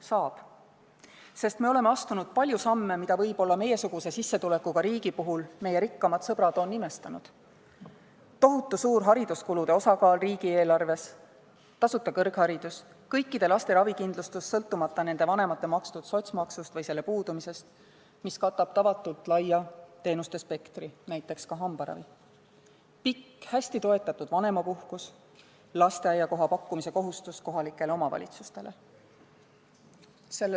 Saab, sest me oleme astunud palju samme, mida meiesuguse sissetulekuga riigi puhul meie rikkamad sõbrad võib-olla on imestanud: tohutu suur hariduskulude osakaal riigieelarves; tasuta kõrgharidus; kõikide laste ravikindlustus – sõltumata nende vanemate makstud sotsiaalmaksust või selle puudumisest –, mis katab tavatult laia teenuste spektri, näiteks hambaravi; pikk, hästi toetatud vanemapuhkus; lasteaiakoha pakkumise kohustus kohalikel omavalitsustel.